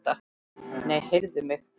Nei, heyrðu mig.